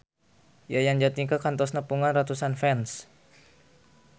Yayan Jatnika kantos nepungan ratusan fans